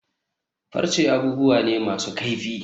Farce abubuwa ne masu kaifi.